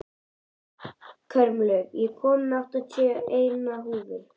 Kormlöð, ég kom með áttatíu og eina húfur!